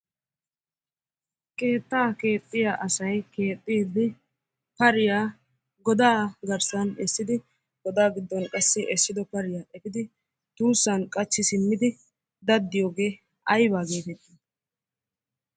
Keetta keexiyaa asay keexidi bariyaa godaa garssan essidi godaa diddon qassi essido bariyaa efiddi tussan qachchi simmidi dadiyoogge ayba getetti?